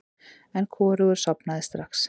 En hvorugur sofnaði strax.